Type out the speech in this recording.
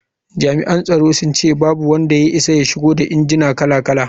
Jami’an tsaron sun ce babu wanda ya isa ya shigo da injinan kala-kala.